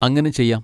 അങ്ങനെ ചെയ്യാം.